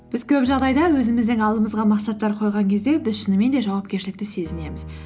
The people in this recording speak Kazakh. біз көп жағдайда өзіміздің алдымызға мақсаттар қойған кезде біз шынымен де жауапкершілікті сезінеміз